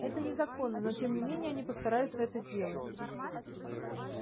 это незаконно но тем не менее они постараются это сделать